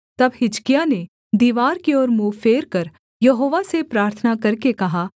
तब हिजकिय्याह ने दीवार की ओर मुँह फेरकर यहोवा से प्रार्थना करके कहा